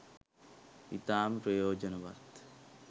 ඉතාම ප්‍රයෝජනවත්.